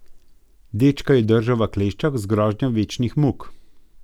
Dečka je držal v kleščah z grožnjo večnih muk.